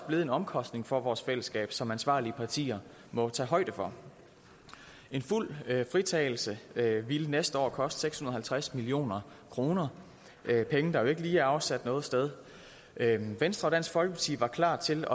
blevet en omkostning for vores fællesskab som ansvarlige partier må tage højde for en fuld fritagelse ville næste år koste seks hundrede og halvtreds million kroner det er penge der jo ikke lige er afsat noget sted venstre og dansk folkeparti var klar til